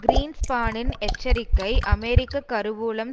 கிரீன்ஸ்பானின் எச்சரிக்கை அமெரிக்க கருவூலம்